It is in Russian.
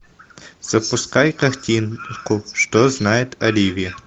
запускай картинку что знает оливия